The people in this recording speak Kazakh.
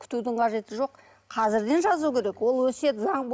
күтудің қажеті жоқ қазірден жазу керек ол өсиет заң